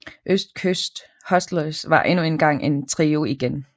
Østkyst Hustlers var endnu engang en trio igen